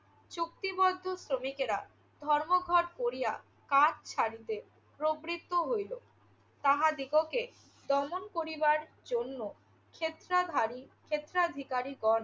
চুক্তিবদ্ধ শ্রমিকেরা ধর্মঘট করিয়া কাজ ছাড়িতে প্রবৃদ্ধ হইল। তাহাদিগকে দমন করিবার জন্য স্বেচ্ছাধারী~ স্বেচ্চাধিকারীগণ